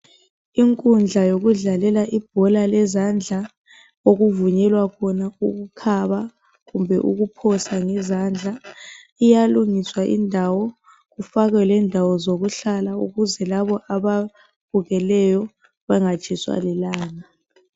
Inkundla yokudlalela ibhola lezandla, okudlalelwa khona ukukhaba kumbe ukuphoswabngezandla, iyalungiswa indawo kufakwe lendawo zokuhlala ukuze labo ababukeleyo bangatshiswa lilanga.